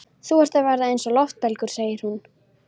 Þú ert að verða eins og loftbelgur, segir hún.